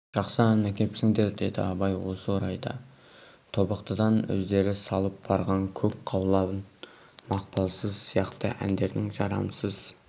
жақсы ән әкепсіңдер деді абай осы орайда тобықтыдан өздері салып барған көк қаулан мақпалқыз сияқты әндердің жарамсыз